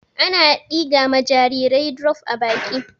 Ana ɗiga ma jarirai drof a baki.